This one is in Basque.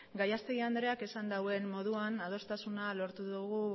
gallastegui andreak esan duen moduan adostasuna lortu dugu